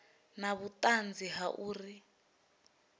na vhuṱanzi ha uri u